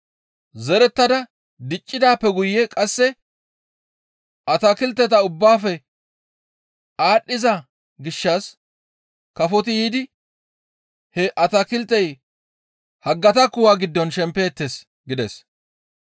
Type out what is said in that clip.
Zerettada diccidaappe guye qasse atakilteta ubbaafe aadhdhiza gishshas kafoti yiidi he atakiltey haggata kuwa giddon shempeettes» gides.